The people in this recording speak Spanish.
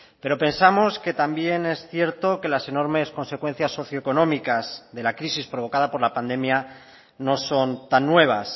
pero pensamos que también es cierto que las enormes consecuencias socioeconómicas de la crisis provocada por la pandemia no son tan nuevas